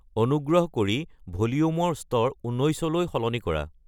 অনুগ্ৰহ কৰি ভলিউমৰ স্তৰ ঊন্নৈচলৈ সলনি কৰা